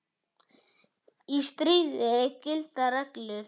Í stríði gilda reglur.